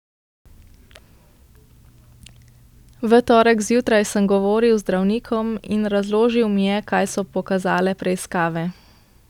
V torek zjutraj sem govoril z zdravnikom in razložil mi je, kaj so pokazale preiskave.